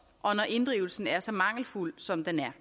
og når inddrivelsen er så mangelfuld som den er